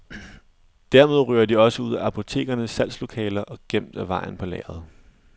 Dermed ryger de også ud af apotekernes salgslokaler og gemt af vejen på lageret.